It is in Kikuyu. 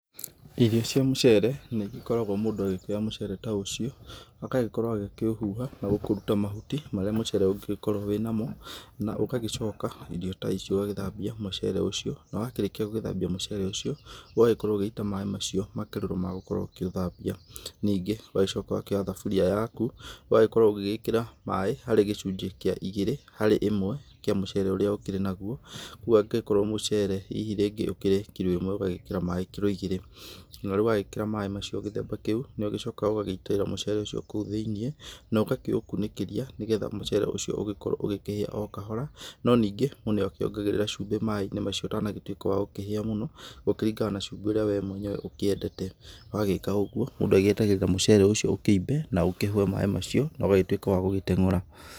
Irio cia mũcere nĩ igĩkoragwo mũndũ agĩkĩoya mũcere ta ũcio agagĩkorwo agĩkĩũhuha na kũũruta mahuti marĩa mũcere ũngĩgĩkorwo wĩ namo na ũgagĩcoka irio ta ici ũgagĩthambia mũcere ũcio, na wakĩrĩkia gũgĩthambia mũcere ũcio, ũgagĩkorwo ũgĩita maĩ macio, makerũro ma gũkorwo ũkĩũthambia. Ningĩ ũgagĩcoka ũkoya thaburia yaku ũgagĩkorwo ũgĩgĩkĩra maĩ harĩ gĩcunjĩ kĩa igĩrĩ harĩ ĩmwe kĩa mũcere ũrĩa ũkĩrĩ naguo, rĩu angĩgĩkorwo mũcere hihi rĩngĩ ũkĩrĩ kiro ĩmwe ũgagĩkĩra maĩ kiro igĩrĩ. Na riũ wagĩkĩra maĩ macio gĩthemba kĩu nĩ ũgĩcokaga ũgagĩitĩrĩra maĩ mau kou thĩ-inĩ, na ũgakĩũkunĩkĩria nĩgetha mũcere ũcio ũgĩkorwo ũgĩkĩhĩa o kahora, no ningĩ mũndũ nĩ akĩongagĩrĩra cumbĩ maĩ-inĩ macio ũtanagĩtuĩka wa gũkĩhĩa mũno, gũkĩringana na cumbĩ ũrĩa we mwenyewe ũkĩendete. Wagĩka ũguo mũndũ agĩetagĩrĩra mũcere ũcio ũkĩimbe na ũkĩhũe maĩ macio na ũgagĩtuĩka wa gũgĩtengũra.